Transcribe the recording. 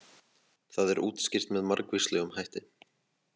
Það er útskýrt með margvíslegum hætti.